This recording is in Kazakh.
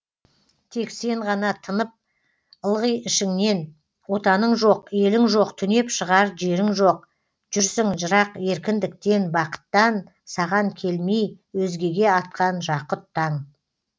тек сен ғана тынып ылғи ішіңнен отаның жоқ елің жоқ түнеп шығар жерің жоқ жүрсің жырақ еркіндіктен бақыттан саған келмей өзгеге атқан жақұт таң